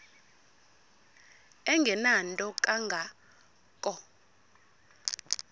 engenanto kanga ko